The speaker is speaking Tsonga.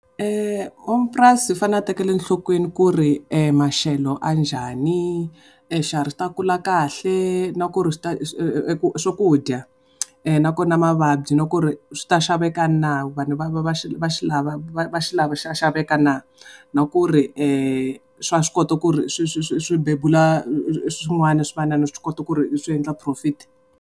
N'wamapurasi u fanele a tekela nhlokweni ku ri maxelo a njhani, swiharhi swi ta kula kahle na ku ri swakudya, na kona mavabyi na ku ri swi ta xaveka na vanhu va va va xi lava va xi lava xa xaveka na, na ku ri swa swi kota ku ri swi swi swi bebula swin'wana swivanana swi kota ku ri swi endla profit.